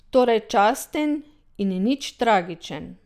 Torej časten in nič tragičen.